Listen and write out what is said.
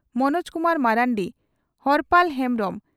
Manoj Kumar Marandi Horpal Hembrom